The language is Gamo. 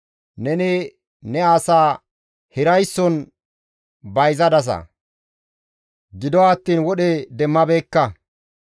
Neni ne asaa hiraysson bayzadasa; gido attiin wodhe demmabeekka.